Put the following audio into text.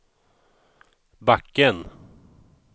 backen